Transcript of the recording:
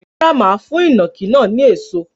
Rárá, mà á fún ìnàkí náà ní èso.